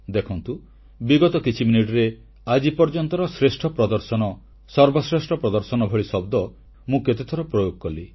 ଦେଖନ୍ତୁ ବିଗତ କିଛି ମିନିଟରେ ଆଜି ପର୍ଯ୍ୟନ୍ତର ଶ୍ରେଷ୍ଠ ପ୍ରଦର୍ଶନ ସର୍ବଶ୍ରେଷ୍ଠ ପ୍ରଦର୍ଶନ ଭଳି ଶବ୍ଦ ମୁଁ କେତେଥର ପ୍ରୟୋଗ କଲି